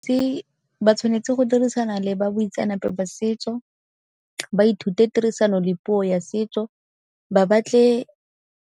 Se ba tshwanetse go dirisana le ba boitseanape ba setso, ba ithute tirisano le puo ya setso ba batle.